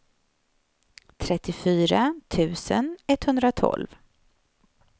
trettiofyra tusen etthundratolv